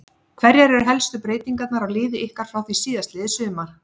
Hverjar eru helstu breytingar á liði ykkar frá því síðastliðið sumar?